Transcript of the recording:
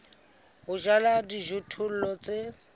ya ho jala dijothollo tse